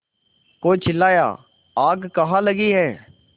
कोई चिल्लाया आग कहाँ लगी है